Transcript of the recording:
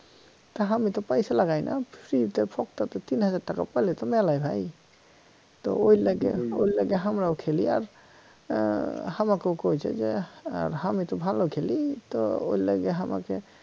তা হামি তো পয়সা লাগাই না free তে ফক্কাতে তিন হাজার টাকা পাইলে তো মেলাই ভাই তো ওর লাইগা ওর লাইগা হামরাও খেলি আর আহ হামাকেও কইছে যে এর হামি তো ভালো খেলি তো ওর লাইগা হামাকে